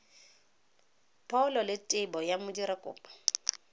pholo le tebo ya modirakopo